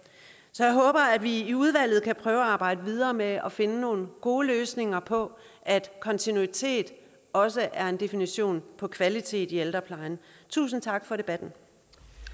så jeg håber at vi i udvalget kan prøve at arbejde videre med at finde nogle gode løsninger på at kontinuitet også er en definition på kvalitet i ældreplejen tusind tak for debatten